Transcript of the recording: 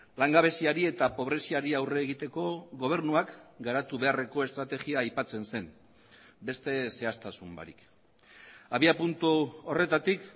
langabeziari eta pobreziari aurre egiteko gobernuak garatu beharreko estrategia aipatzen zen beste zehaztasun barik abiapuntu horretatik